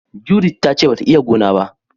" Judith" ta ce ba ta iya gona ba.